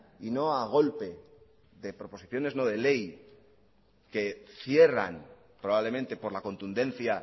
y no a golpe de proposiciones no de ley que cierran probablemente por la contundencia